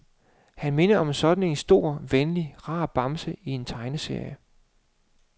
Han minder om sådan en stor, venlig, rar bamse i en tegneserie.